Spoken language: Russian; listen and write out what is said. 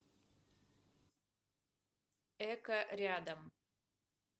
эко рядом